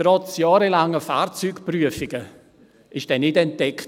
Trotz jahrelanger Fahrzeugprüfungen wurde er nicht entdeckt.